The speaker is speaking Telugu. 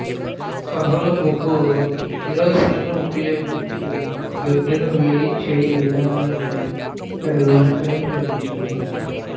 కర్రల బొగ్గు కిరోసిన్ను ఉపయోగించి బెడ్ ను వేడిచేయు విధానాన్ని ఇక్కడ వివరించడం జరిగింది